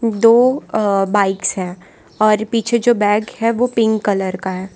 दो अह बाइक्स हैं और पीछे जो बैग है वो पिंक कलर का है।